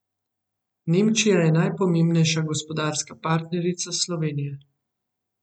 Nemčija je najpomembnejša gospodarska partnerica Slovenije.